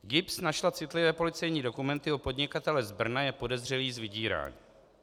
"GIBS našla citlivé policejní dokumenty u podnikatele z Brna, je podezřelý z vydírání.